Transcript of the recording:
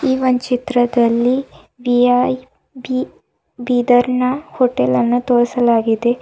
ಈ ಒಂದ್ ಚಿತ್ರದಲ್ಲಿ ವಿವೈಬಿ ಬೀದರ್ನ ಹೋಟೆಲ್ಲನ್ನು ತೋರಿಸಲಾಗಿದೆ.